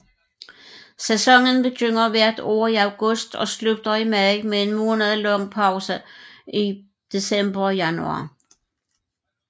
Sæsonen begynder hvert år i august og slutter i maj med en månedlang pause i december og januar